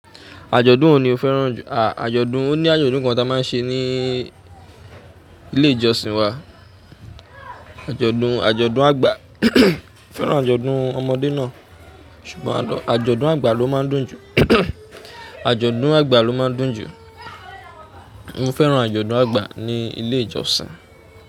Àjọ̀dún wo ni o fẹ́ràn jù? À, àjọ̀dún, ó ní àjọ̀dún kan ta máa ń ṣe ní ilé ìjọsìn wa. Àjọ̀dún, àjọ̀dún àgbà. Mo fẹ́ràn àjọ̀dún ọmọdé náà, ṣùgbọ́n àjọ̀dún àgbà ló máa ń dùn jù. Àjọ̀dún àgbà ló máa ń dùn jù. Mo fẹ́ràn àjọ̀dún àgbà ní ilé ìjọsìn.